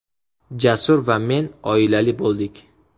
Jasur va men oilali bo‘ldik.